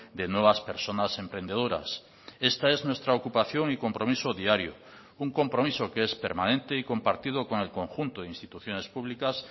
de nuevas personas emprendedoras esta es nuestra ocupación y compromiso diario un compromiso que es permanente y compartido con el conjunto de instituciones públicas